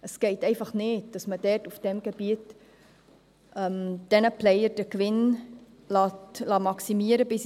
Es geht nicht, dass man in diesem Gebiet die Gewinne der Player ins Unermessliche maximieren lässt.